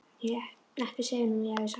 Ekki segja honum að ég hafi sagt þér það.